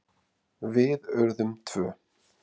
Við urðum tvö.